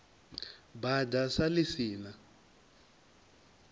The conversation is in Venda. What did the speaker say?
bada sa ḽi si na